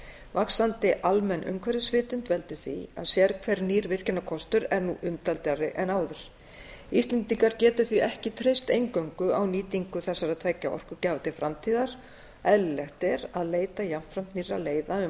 vaxandi almenn umhverfisvitund veldur því að sérhver nýr virkjunarkostur er nú umdeildari en áður íslendingar geta því ekki treyst eingöngu á nýtingu þessara tveggja orkugjafa til framtíðar eðlilegt er að leita jafnframt nýrra leiða um